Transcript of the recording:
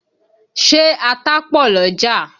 Ṣé ata pọ̀ l'ọ́jà?